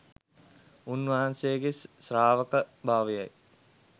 උන්වහන්සේගේ ශ්‍රාවකභාවයයි.